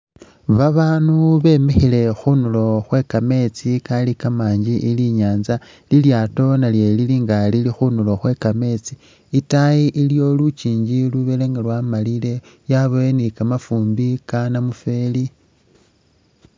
Babaanu bemikhile khunulo khwe kameetsi Kali ka'manji ili inyanza, lilyaato nalyo lilinga Lili khunulo khwe kameetsi itaayi iliyo lunjinji lubelenga lwamalile yabayo ni kamafumbi kanamufeli